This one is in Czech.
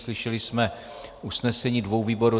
Slyšeli jsme usnesení dvou výborů.